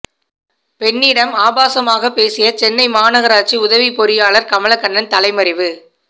பெண்ணிடம் ஆபாசமாக பேசிய சென்னை மாநகராட்சி உதவி பொறியாளர் கமலக்கண்ணன் தலைமறைவு